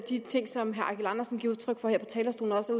de ting som herre eigil andersen giver udtryk for her på talerstolen også